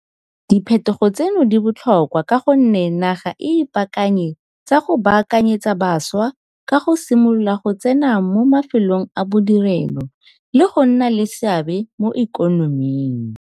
Di phetogo tseno di botlhokwa ka gonne naga e ipaakanye tsa go baakanyetsa bašwa go ka simolola go tsena mo ma felong a bodirelo le go nna le seabe mo ikonoming.